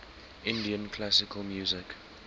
indian classical music